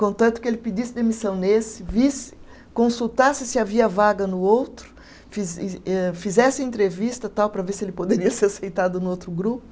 Contanto que ele pedisse demissão nesse, visse, consultasse se havia vaga no outro, fize eh fizesse entrevista e tal, para ver se ele poderia ser aceitado no outro grupo.